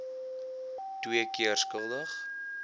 twee keer skuldig